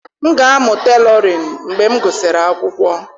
M ga-amụ Tailoring mgbe m gụsịrị akwụkwọ.